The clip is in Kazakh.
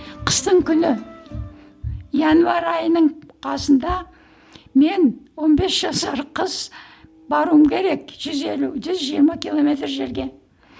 қыстың күні январь айының қасында мен он бес жасар қыз баруым керек жүз елу жүз жиырма километр жерге